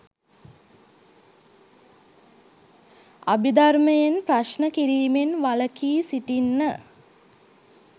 අභිධර්මයෙන් ප්‍රශ්න කිරීමෙන් වලකී සිටින්න